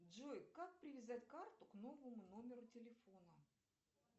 джой как привязать карту к новому номеру телефона